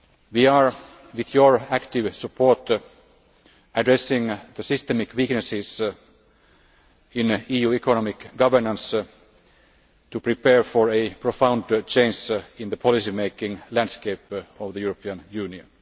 We are, with your active support, addressing the systemic weaknesses in EU economic governance in order to prepare for a profound change in the policy making landscape of the European Union.